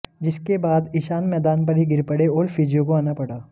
जिसके बाद ईशान मैदान पर ही गिर पड़े और फिजियो को आना पड़ा